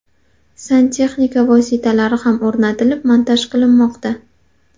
Santexnika vositalari ham o‘rnatilib, montaj qilinmoqda.